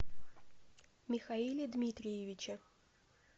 михаиле дмитриевиче